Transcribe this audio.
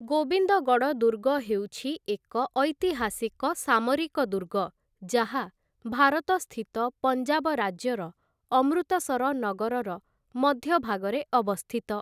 ଗୋବିନ୍ଦଗଡ଼ ଦୁର୍ଗ ହେଉଛି ଏକ ଐତିହାସିକ ସାମରିକ ଦୁର୍ଗ ଯାହା, ଭାରତସ୍ଥିତ ପଞ୍ଜାବ ରାଜ୍ୟର ଅମୃତସର ନଗରର ମଧ୍ୟଭାଗରେ ଅବସ୍ଥିତ ।